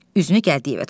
Üzünü Gəldiyevə tutdu.